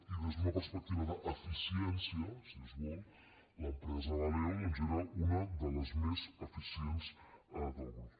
i des d’una perspectiva d’eficiència si es vol l’empresa valeo doncs era una de les més eficients del grup